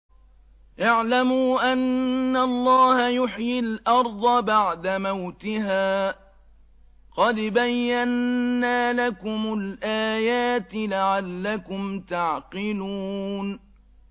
اعْلَمُوا أَنَّ اللَّهَ يُحْيِي الْأَرْضَ بَعْدَ مَوْتِهَا ۚ قَدْ بَيَّنَّا لَكُمُ الْآيَاتِ لَعَلَّكُمْ تَعْقِلُونَ